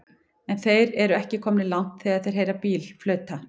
En þeir eru ekki komnir langt þegar þeir heyra bíl flauta.